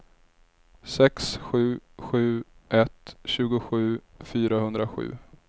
sex sju sju ett tjugosju fyrahundrasju